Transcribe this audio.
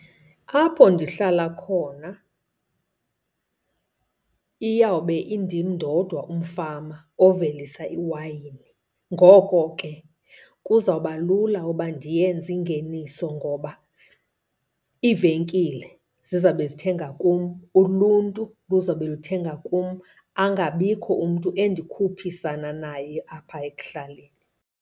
Apho ndihlala khona iyawube indim ndodwa umfama ovelisa iwayini. Ngoko ke kuzawuba lula uba ndiyenze ingeniso ngoba iivenkile zizawube zithenga kum, uluntu luzawube luthenga kum, angabikho umntu andikhuphisani naye apha ekuhlaleni.